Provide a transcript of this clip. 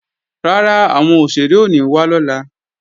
Rárá, àwọn òṣèré ò ní wá lọ́la